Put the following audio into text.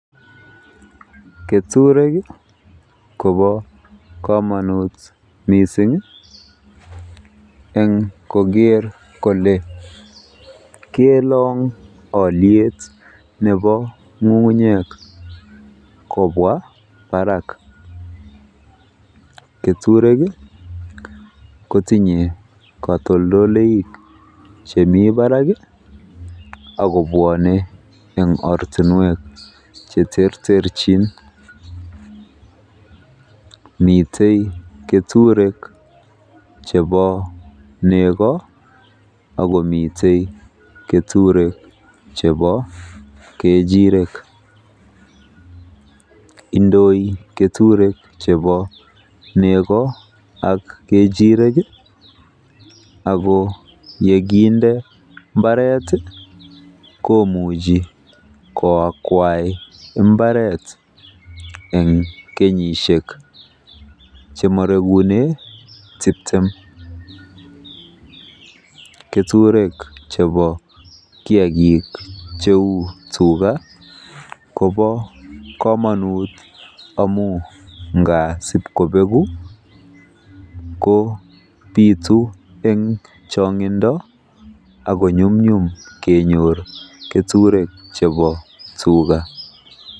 Keturek kobo komonut mising eng koker kole kelong oliet nebo ng'ung'unyek kobwa barak. Keturek kotinye katoldolik chemi barak ako bwone eng ortinwek cheterterchin. Mitei keturek chebo nego akomite keturek chebo kechiirek. Indoi keturek chebo nego ak kechirek ako yekinde mbaret komuchi koakwai mbaret eng kenyisiek chemorekune tiptem. Keturek chebo kiagik cheu tuga kobo komonut mising amu ngaa sibkobegu kobiitu eng chongindo ako nyumnyum kenyor keturek chebo tuga.